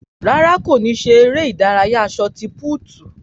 Rárá, kò ní ṣeré ìdárayá sọti púútu